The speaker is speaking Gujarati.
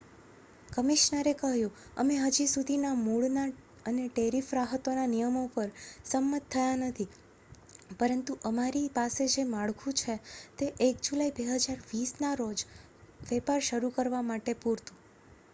"કમિશનરે કહ્યું "અમે હજી સુધી મૂળના અને ટેરિફ રાહતોના નિયમો પર સંમત થયા નથી પરંતુ અમારી પાસે જે માળખું છે તે 1 જુલાઇ 2020 ના રોજ વેપાર શરૂ કરવા માટે પૂરતું"".